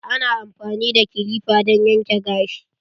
Ana amfani da kilipa don yanke gashi.